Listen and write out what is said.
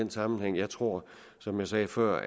den sammenhæng jeg tror som jeg sagde før